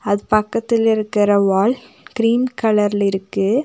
அது பக்கத்துல இருக்கற வால் கிரீன் கலர்ல இருக்கு.